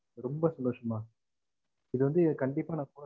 ரொம்ப சந்தோசம் மா இத வந்து ந கண்டிப்பா